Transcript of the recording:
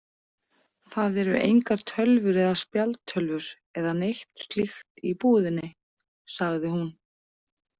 Það eru engar tölvur eða spjaldtölvur eða neitt slíkt í íbúðinni, sagði hún.